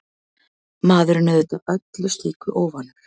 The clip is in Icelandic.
Maðurinn auðvitað öllu slíku óvanur.